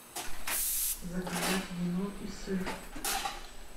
заказать вино и сыр